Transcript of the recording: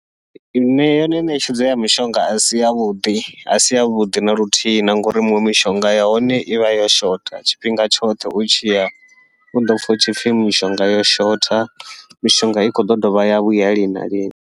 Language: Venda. Yone ṋetshedzo ya mishonga asi yavhuḓi asi yavhuḓi naluthihi, na ngauri miṅwe mishonga yahone ivha yo shotha tshifhinga tshoṱhe u tshiya uḓo pfha hu tshipfhi mishonga yo shotha, mishonga i khou ḓo dovha ya vhuya lini na lini.